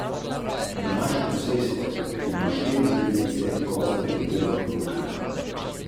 Če ga predmet v celoti odbija, naše oko zazna belo barvo.